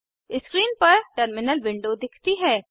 screen पर terminal window दिखती है